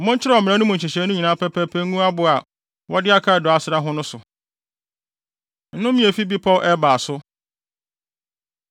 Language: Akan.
Monkyerɛw mmara no mu nhyehyɛe nyinaa pɛpɛɛpɛ ngu abo a wɔde akaadoo asra ho no so.” Nnome A Efi Bepɔw Ebal So